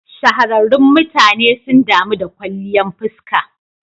Shahararrun mutane sun damu da kwalliyan fuska.